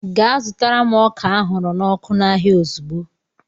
Gaa zụtara m ọka ahụrụ n'ọkụ n'ahịa ozugbo!